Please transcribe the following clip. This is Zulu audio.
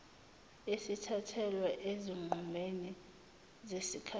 esithathelwa ezinqumeni zesikhashana